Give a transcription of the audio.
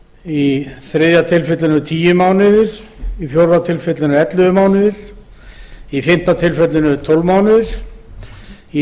í þriðja tilfelli tíu mánuðir í fjórða tilfelli ellefu mánuðir í fimmta tilfelli tólf mánuðir og í